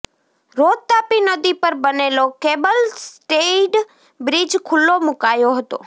રોજ તાપી નદી પર બનેલો કેબલ સ્ટેઈડ બ્રિજ ખુલ્લો મુકાયો હતો